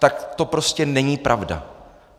Tak to prostě není pravda.